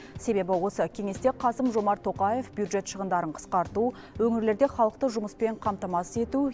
себебі осы кеңесте қасым жомарт тоқаев бюджет шығындарын қысқарту өңірлерде халықты жұмыспен қамтамасыз ету